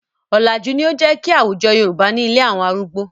Ọ̀làjú ni ó jẹ́ kí àwújọ Yorùbá ní ilé àwọn arúgbó.